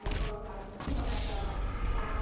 Aí colocava em cima daquela, sabe?